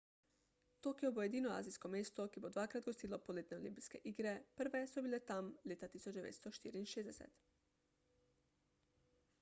tokio bo edino azijsko mesto ki bo dvakrat gostilo poletne olimpijske igre prve so bile tam leta 1964